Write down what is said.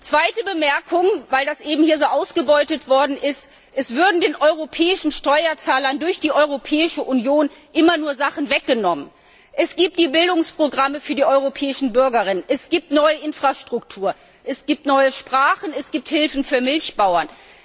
Zweite Bemerkung, weil das eben hier so ausgelegt wurde, als würden den europäischen Steuerzahlern durch die Europäische Union immer nur Sachen weggenommen Es gibt die Bildungsprogramme für die europäischen Bürgerinnen, es gibt neue Infrastruktur, es gibt neue Sprachen, es gibt Hilfen für Milchbauern.